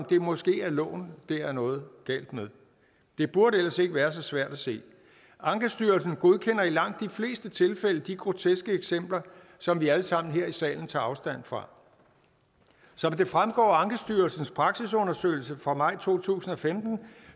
det måske er loven der er noget galt med det burde ellers ikke være så svært at se ankestyrelsen godkender i langt de fleste tilfælde de groteske eksempler som vi alle sammen her i salen tager afstand fra som det fremgår af ankestyrelsens praksisundersøgelse fra maj to tusind og femten